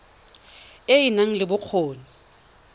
e e nang le bokgoni